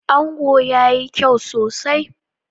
Ango yayi kyau sosai.